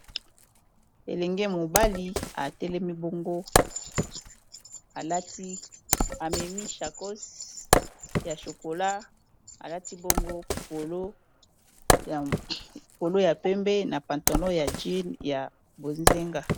elenge mobali atelemi bongo amemi Sacoche ya chokola alati bongo polo ya pembe na pantolon ya langi ya bozinga.